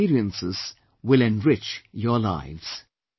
These experiences will enrich your lives